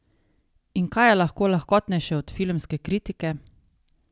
In kaj je lahko lahkotnejše od filmske kritike?